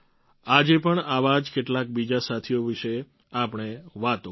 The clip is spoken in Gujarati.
આજે પણ આવા જ કેટલાક બીજા સાથીઓ વિશે આપણે વાતો કરીએ